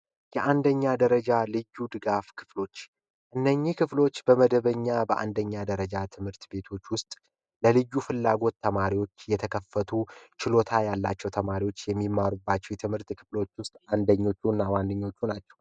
የአንደኛ ደረጃ ልዩ ድጋፍ ክፍሎች እነዚህ ክፍሎች በመደበኛ እና በአንደኛ ደረጃ ትምህርት ቤቶች ውስጥ ለልዩ ፍላጎት ተማሪዎች የተከፈቱ ችሎታ ያላቸው ተማሪዎች የሚመሩባቸው የትምህርት ክፍሎች ውስጥ አንዱ ነው።